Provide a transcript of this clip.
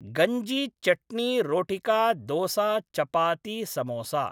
गञ्जि चट्नि रोटिका दोसा चपाति समोसा